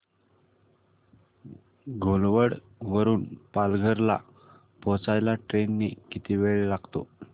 घोलवड वरून पालघर ला पोहचायला ट्रेन ने किती वेळ लागेल